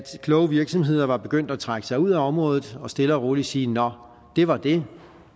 kloge virksomheder var begyndt at trække sig ud af området og stille og roligt sige nå det var det